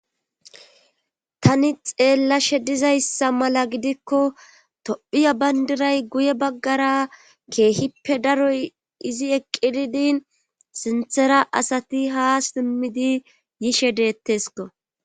Tani xeellashe dizayssa mala gidikko tophiya bayndiray guye baggara keehippe daroy izi eqqididin sinthera asati haa simmidi yishe deettesko